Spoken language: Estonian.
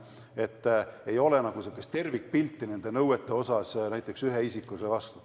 Seni ei ole nagu tervikpilti nõuetest ühe isiku vastu.